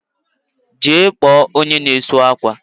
Jee kpo onye na esu akwa